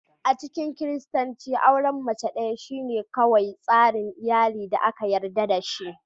A cikin Kiristanci, auren mace ɗaya shine kawai tsarin iyali da aka yarda da shi.